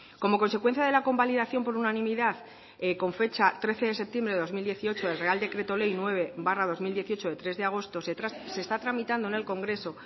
como consecuencia de la convalidación por unanimidad con fecha trece de septiembre de dos mil dieciocho el real decreto ley nueve barra dos mil dieciocho de tres de agosto se está tramitando en el congreso